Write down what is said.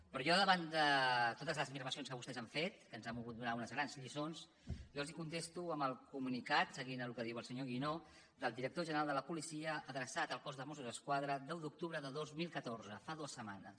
però jo davant de totes les afirmacions que vostès han fet que ens han volgut donar unes grans lliçons els contesto amb el comunicat seguint amb el que diu el senyor guinó del director general de la policia adreçat al cos de mossos d’esquadra deu d’octubre de dos mil catorze fa dues setmanes